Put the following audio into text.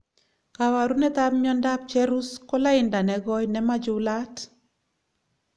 kabarunet ab miando ap cherus kolainda negoi nimachulat